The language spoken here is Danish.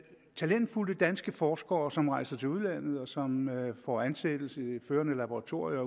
talentfulde danske forskere som rejser til udlandet og som får ansættelse i førende laboratorier